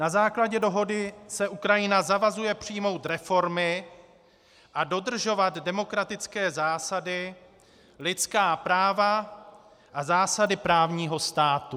Na základě dohody se Ukrajina zavazuje přijmout reformy a dodržovat demokratické zásady, lidská práva a zásady právního státu.